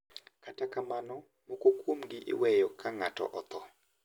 Kata kamano moko kuomgi iweyo ka ng`ato otho.